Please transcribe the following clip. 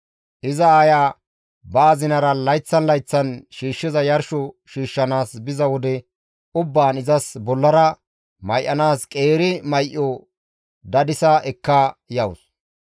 Iza aaya ba azinara layththan layththan shiishshiza yarsho shiishshanaas biza wode ubbaan izas bollara may7anaas qeeri may7o dadisa ekka yawus.